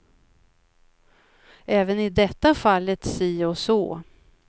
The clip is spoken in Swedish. Även i detta fallet si och så.